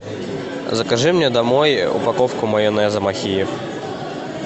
закажи мне домой упаковку майонеза махеев